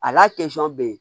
A n'a bɛ yen